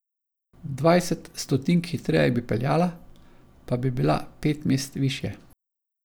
Dvajset stotink hitreje bi peljala, pa bi bila pet mest višje.